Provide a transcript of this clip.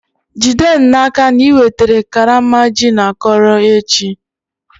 Jide n'aka na i wetara karama gin akọrọ echi!